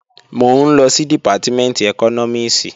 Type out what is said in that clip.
Mò ń lọ sí Dìpátímẹ̀ntì ẹkọ́nọ́mìs